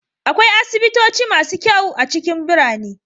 Akwai asibitoci masu kyau a cikin birane.